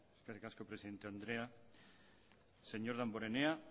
eskerrik asko presidente andrea señor damborenea